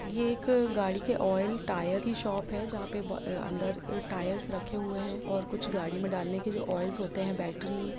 ये एक अ गाडी के आयल टायर की शॉप है जहां पे बहु अ अन्दर टायर्स रखे हुए है और कुछ गाड़ी में डालने के लिए आयल होते है और बैटरी --